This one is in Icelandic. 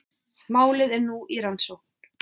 Málið er nú í rannsókn